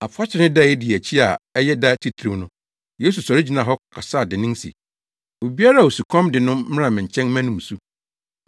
Afahyɛ no da a edi akyi a ɛyɛ da titiriw no, Yesu sɔre gyinaa hɔ kasaa dennen se, “Obiara a osukɔm de no no mmra me nkyɛn mmɛnom nsu.